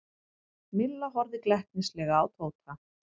Milla horfði glettnislega á Tóta.